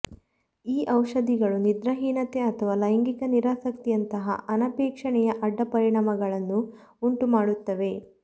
ಈ ಔಷಧಗಳು ನಿದ್ರಾ ಹೀನತೆ ಅಥವಾ ಲೈಂಗಿಕ ನಿರಾಸಕ್ತಿಯಂತಹ ಅನಪೇಕ್ಷಣೀಯ ಅಡ್ಡ ಪರಿಣಾಮಗಳನ್ನು ಉಂಟುಮಾಡುತ್ತವೆ